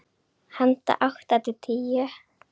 Handa átta til tíu